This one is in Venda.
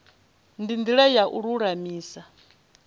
ndi ndila ya u lulamisa